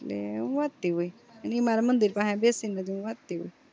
એટલે હું વાંચતી હોય ઈ મારા મંદિર પાહે બેસીને હું વાંચતી હોઉં